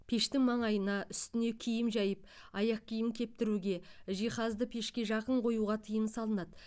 пештің маңайына үстіне киім жайып аяқ киім кептіруге жиһазды пешке жақын қоюға тыйым салынады